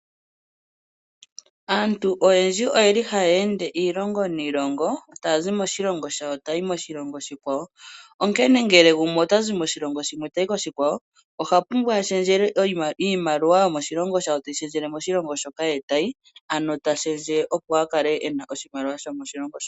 Aantu oyendji oye li ha ya ende iilongo niilongo, taya zi moshilongo shawo taya yi moshilongo oshikwawo, onkene ngele gumwe ota zi moshilongo shimwe tayi koshikwawo, oha pumbwa ashendje le iimaliwa yomoshilongo shawo teyi shendjele moshilongo shoka ye tayi ano ta shendje opo akale ena oshimaliwa sho moshilongo sho.